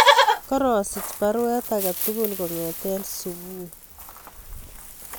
Korasich baruet age tugul kongeten subui